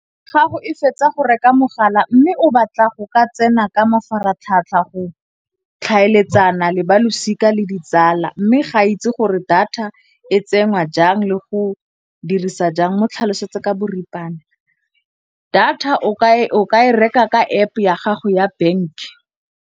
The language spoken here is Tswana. Gago e fetsa go reka mogala mme o batla go ka tsena ka mafaratlhatlha go tlhaeletsana le balosika le ditsala. Mme ga ke itse gore data e tsenngwa jang le go dirisa jang mo tlhalosetse ka boripana. Data o ka e reka ka App-e ya gago ya bank.